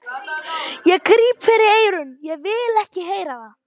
Ég gríp fyrir eyrun, ég vil ekki heyra það!